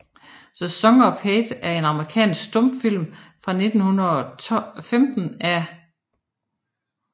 The Song of Hate er en amerikansk stumfilm fra 1915 af J